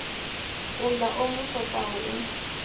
uḽa o mu swaṱaho u